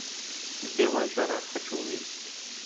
белая жара хочу увидеть